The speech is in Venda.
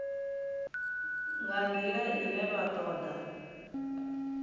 nga ndila ine vha toda